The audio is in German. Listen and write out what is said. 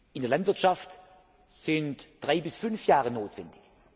In der Landwirtschaft sind drei bis fünf Jahre notwendig.